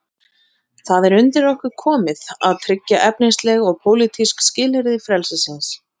Það er undir okkur komið að tryggja efnisleg og pólitísk skilyrði frelsisins.